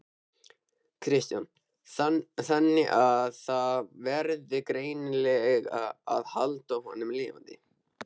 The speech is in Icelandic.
Kristján: Þannig að það verður greinilega að halda honum lifandi?